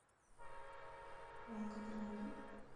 волгограде